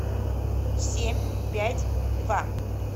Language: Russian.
семь пять два